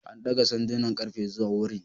An daga sandunan ƙarfe zuwa wurin.